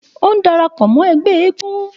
Ó ń dara pọ̀ mọ́ ẹgbẹ́ eégún.